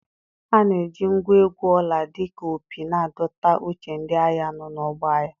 A na-eji ngwa egwu ọla dị ka opi na-adọta uche ndị agha nọ n'ọgbọ agha.